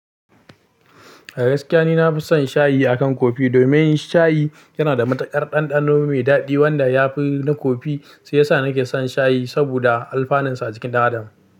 A gaskiya ni na fi son shayi akan kofi domin shayi yana da matukar ɗanɗano mai daɗi wanda yafi na kofi, shiya sa nake son shayi saboda alfaninsa a jikin ɗan adam.